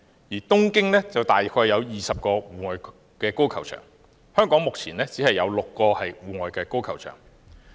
另外，東京約有20個戶外高爾夫球場，而香港目前只有6個戶外高爾夫球場。